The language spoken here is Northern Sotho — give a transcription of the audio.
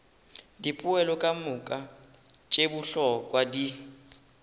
dipoelo kamoka tše bohlokwa di